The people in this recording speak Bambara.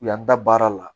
U y'an da baara la